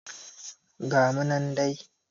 Ga mu nan dai